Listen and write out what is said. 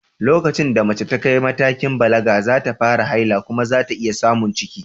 Lokacin da mace ta kai matakin balaga, za ta fara haila kuma za ta iya samun ciki.